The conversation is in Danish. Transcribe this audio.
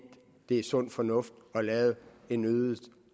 det er sund fornuft at lave en øget